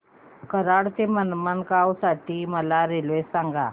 कराड ते मडगाव साठी मला रेल्वे सांगा